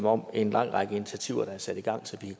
om en lang række af de initiativer der er sat i gang så vi